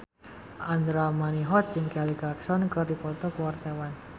Andra Manihot jeung Kelly Clarkson keur dipoto ku wartawan